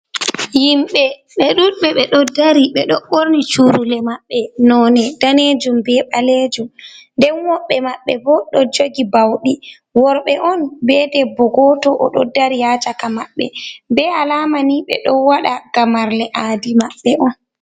Yimɓe ɓe ɗuɗɓe. Ɓe ɗo dari ɓe ɗo ɓorni curule maɓɓe, none daneejum, be ɓaleejum, nden woɓɓe maɓɓe bo ɗo jogi bauɗi. Worɓe on be debbo goto, oɗo dari haa caka maɓɓe, be alamani ɓe ɗo waɗa gamarle aadi maɓɓe on.